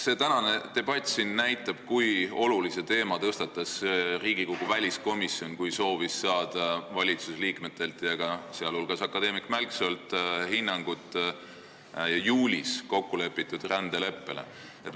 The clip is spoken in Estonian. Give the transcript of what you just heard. See tänane debatt siin näitab, kui olulise teema tõstatas Riigikogu väliskomisjon, kui soovis saada valitsusliikmetelt ja ka akadeemik Mälksoolt hinnangut juulis kokkulepitud rändeleppele.